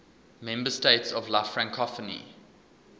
member states of la francophonie